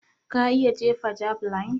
Ka iya jefa javeline?